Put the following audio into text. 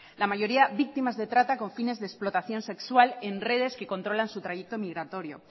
la mayoría víctimas de trata con fines de explotación sexual en redes que controlan su trayecto migratorio